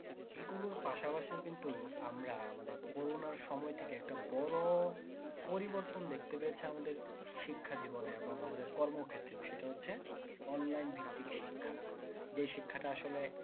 এগুলোর পাশাপাশিও কিন্তু আমরা আমাদের করোনার সময় থেকে একটা বড়ো পরিবর্তন দেখতে পেয়েছে আমাদের শিক্ষা জীবনে এবং আমাদের কর্ম ক্ষেত্রে সেটা হচ্ছে online ভিত্তিক শিক্ষা যে শিক্ষাটা আসলে